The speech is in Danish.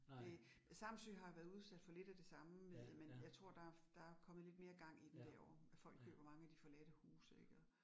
Det Samsø har været udsat for lidt af det samme med, men jeg tror der der kommet lidt mere gang i den derovre. Folk køber mange af de forladte huse ik og